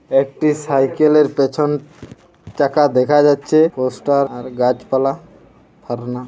একটি সাইকেলের পেছন চাকা দেখা যাচ্ছে পোস্টার আর গাছপালা ফারনা--